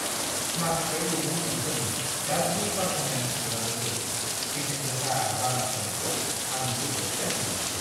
माखासे दैदेनगिरिफोरनि गाज्रि पार्फरमेन्स नुनानैबो बेसेन गोसा बनास होनायखौ आं जोबोद गाज्रि मोनो।